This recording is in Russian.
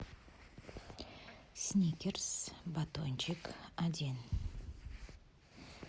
сникерс батончик один